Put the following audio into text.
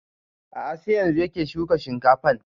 A'a sai yanzun yake shuka shinkafan